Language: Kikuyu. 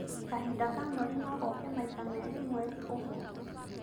Kahinda ka mweri no gooke maita Merĩ mweri ũmwe?